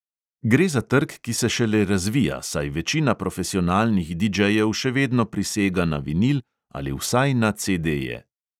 Gre za trg, ki se šele razvija, saj večina profesionalnih didžejev še vedno prisega na vinil ali vsaj na cedeje.